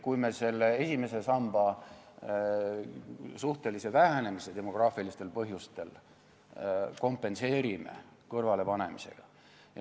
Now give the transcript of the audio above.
... kui me esimese samba demograafilistel põhjustel toimuva suhtelise vähenemise kompenseerime raha kõrvalepanemisega.